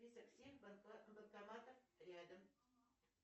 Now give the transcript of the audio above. список всех банкоматов рядом